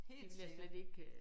Helt sikkert